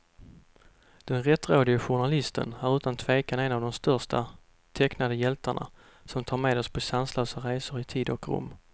Den rättrådige journalisten är utan tvekan en av de största tecknade hjältarna, som tar med oss på sanslösa resor i tid och rum.